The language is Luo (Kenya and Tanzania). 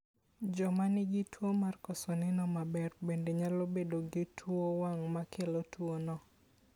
Joma nigi tuwo mar koso neno maber bende nyalo bedo gi tuo wang' mokelo tuwono.